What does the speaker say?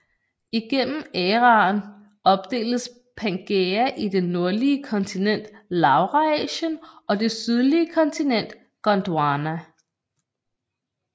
Igennem æraen opdeles Pangæa i det nordlige kontinent Laurasien og det sydlige kontinent Gondwana